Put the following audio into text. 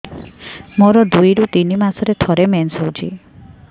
ମୋର ଦୁଇରୁ ତିନି ମାସରେ ଥରେ ମେନ୍ସ ହଉଚି